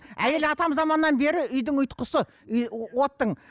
әйел атамзаманнан бері үйдің ұйытқысы оттың